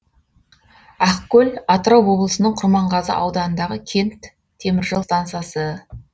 ақкөл атырау облысының құрманғазы ауданындағы кент теміржол стансасы